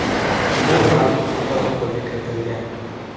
Bu ham protokolga kiritilgan.